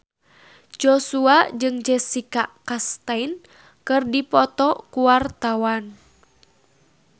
Joshua jeung Jessica Chastain keur dipoto ku wartawan